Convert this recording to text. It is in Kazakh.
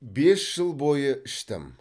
бес жыл бойы іштім